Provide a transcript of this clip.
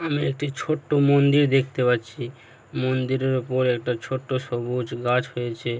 একটি ছোট্ট মন্দির দেখতে পাচ্ছি মন্দিরের ওপর একটা ছোট্ট সবুজ গাছ হয়েছে ।